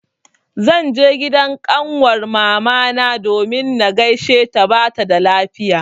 Zan je gidan ƙanwar mamana domin na gaisheta bata da lafiya.